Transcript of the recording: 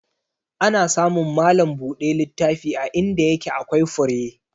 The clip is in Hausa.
Ana samun malam buɗe littafi a inda yake akwai fure.